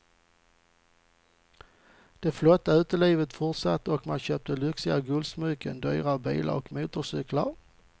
Det flotta utelivet fortsatte och man köpte lyxiga guldsmycken, dyra bilar och motorcyklar.